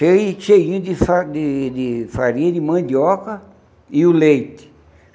Chei cheinho de fa de de farinha, de mandioca e o leite.